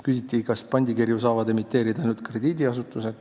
Küsiti, kas pandikirju saavad emiteerida ainult krediidiasutused.